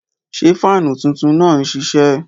Ṣẹ́ faanú tuntun naá n ṣiṣẹ?